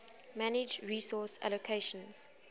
manage resource allocations